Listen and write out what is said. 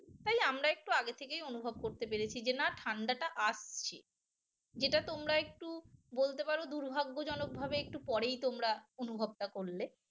তাই আমরা একটু আগে থেকেই অনুভব করতে পেরেছি যে না ঠান্ডাটা আসছে যেটা তোমরা একটু বলতে পারো দুর্ভাগ্যজনকভাবে একটু পরেই তোমরা অনুভবটা করলে